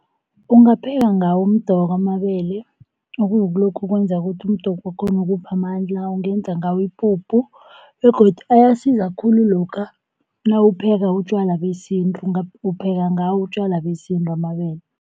Ungapheka ngawo umdoko amabele okukulokhu okwenza ukuthi umdoko wakhona ukuphe amandla, ungenza ngawo ipuphu begodu ayasiza khulu lokha nawupheka utjwala besintu upheka ngawo utjwala besintu amabele.